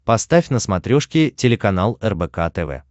поставь на смотрешке телеканал рбк тв